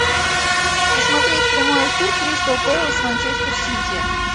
посмотреть прямой эфир кристал пэлас манчестер сити